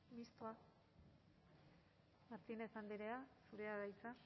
mistoa martínez andrea zurea da hitza